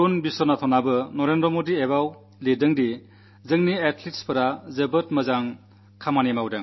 വരുൺ വിശ്വനാഥനും നരേന്ദ്രമോദി ആപ് ൽ എഴുതി നമ്മുടെ അതലറ്റുകൾ നേട്ടമുണ്ടാക്കി